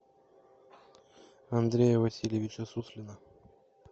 андрея васильевича суслина